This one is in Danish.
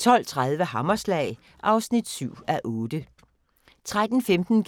12:30: Hammerslag (7:8) 13:15: